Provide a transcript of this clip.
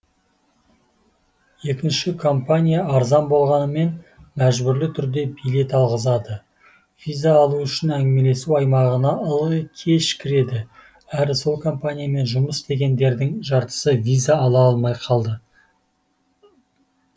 екінші компания арзан болғанымен мәжбүрлі түрде билет алғызады виза алу үшін әңгімелесу аймағына ылғи кеш кіреді әрі сол компаниямен жұмыс істегендердің жартысы виза ала алмай қалды